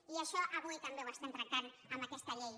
i això avui també ho estem tractant amb aquesta llei